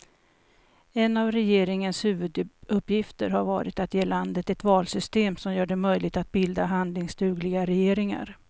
En av regeringens huvuduppgifter har varit att ge landet ett valsystem som gör det möjligt att bilda handlingsdugliga regeringar.